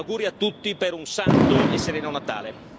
Auguri a tutti per un santo e sereno Natale.